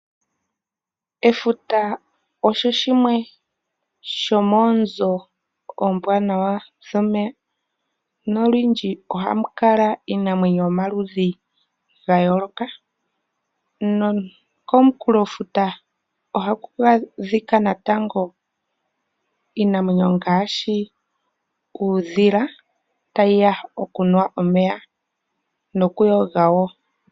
Efuta olyo lyimwe lyomoonzo oombwanawa dhomefuta nolundji ohamu kala iinamwenyo yomaludhi gayooloka . Komukulofuta ohaku adhika natango iinamwenyo ngaashi uudhila, tayiya okunwa omeya nokuyoga woo.